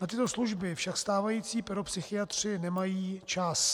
Na tyto služby však stávající pedopsychiatři nemají čas.